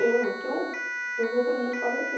Eu não tenho, eu vou para o mundo fazer o que?